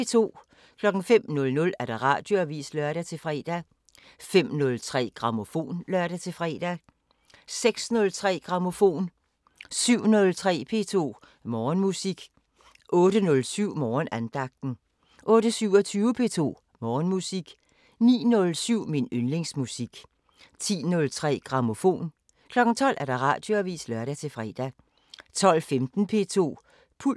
05:00: Radioavisen (lør-fre) 05:03: Grammofon (lør-fre) 06:03: Grammofon 07:03: P2 Morgenmusik 08:07: Morgenandagten 08:27: P2 Morgenmusik 09:07: Min yndlingsmusik 10:03: Grammofon 12:00: Radioavisen (lør-fre) 12:15: P2 Puls